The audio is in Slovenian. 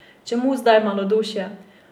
Čemu zdaj malodušje?